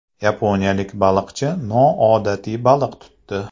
Yaponiyalik baliqchi noodatiy baliq tutdi.